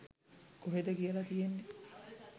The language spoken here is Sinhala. කොහෙද කියල තියෙන්නෙ?